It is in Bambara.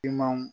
I man